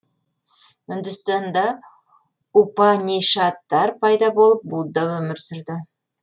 үндістанда упанишадтар пайда болып будда өмір сүрді